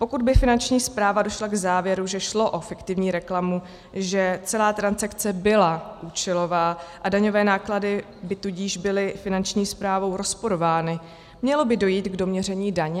Pokud by Finanční správa došla k závěru, že šlo o fiktivní reklamu, že celá transakce byla účelová, a daňové náklady by tudíž byly Finanční správou rozporovány, mělo by dojít k doměření daně?